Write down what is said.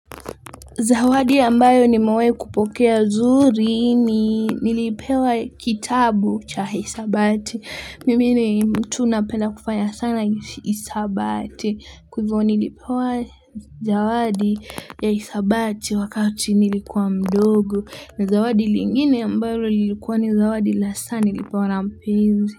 Zawadi ambayo nimewahi kupokea zuri ni nilipewa kitabu cha isabati. Mimi ni mtu napenda kufanya sana isabati. Kwa hivyo nilipewa zawadi ya isabati wakati nilikuwa mdogo. Na zawadi lingine ambalo lilikuwa ni zawadi la saa nilipewa na mpenzi.